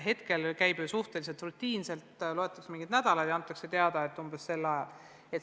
Hetkel käib see protseduur ju suhteliselt rutiinselt, loetakse nädalaid ja antakse teada, et umbes sel ajal.